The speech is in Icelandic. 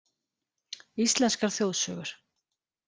Íslenskar þjóðsögur: